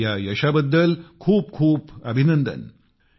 त्यांचे ह्या यशाबद्दल खूप खूप अभिनंदन